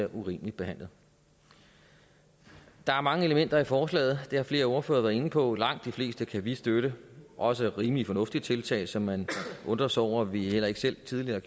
urimeligt behandlet der er mange elementer i forslaget og det har flere ordførere været inde på og langt de fleste kan vi støtte også rimelige fornuftige tiltag som man undrer sig over vi heller ikke selv tidligere